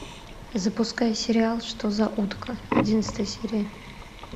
запускай сериал что за утка одиннадцатая серия